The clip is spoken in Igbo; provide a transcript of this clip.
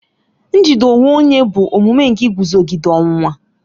Njide onwe onye bụ omume nke iguzogide ọnwụnwa.